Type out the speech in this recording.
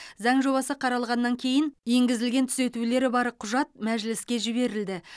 заң жобасы қаралғаннан кейін енгізілген түзетулері бар құжат мәжіліске жіберілді